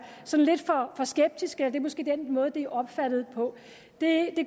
sådan lidt for skeptisk eller det er måske den måde det er opfattet på det